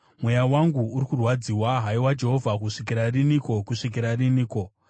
Mweya wangu uri kurwadziwa. Haiwa Jehovha, kusvikira riniko, kusvikira riniko?